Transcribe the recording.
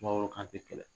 Sumaworo kante kɛlɛ